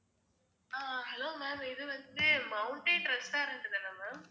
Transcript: ஆஹ் hello ma'am இது வந்து mountain restaurant தானே ma'am